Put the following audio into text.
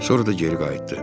Sonra da geri qayıtdı.